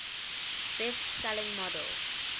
best selling models